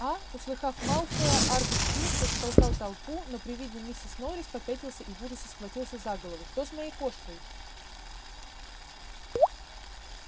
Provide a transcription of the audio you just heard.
а услыхав малфоя аргус филч растолкал толпу но при виде миссис норрис попятился и в ужасе схватился за голову что с моей кошкой